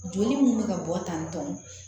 Joli mun be ka bɔ tan tɔn